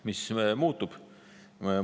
Mis muutub?